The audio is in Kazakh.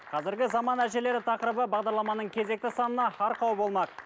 қазіргі заман әжелері тақырыбы бағдарламаның кезекті санына арқау болмақ